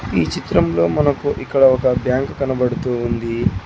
ఈ చిత్రంలో మనకు ఇక్కడ ఒక బ్యాంకు కనబడుతూ ఉంది.